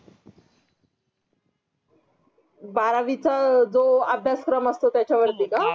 बारावीचा जो अभ्यासक्रम असतो त्याच्या वरती का